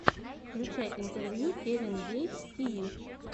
включай интервью кевин гейтс ти ви